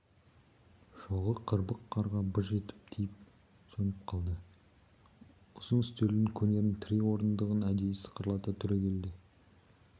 шоғы қырбық қарға быж етіп тиіп сөніп қалды ұзын үстелдің кенерін тірей орындығын әдейі сықырлата түрегелді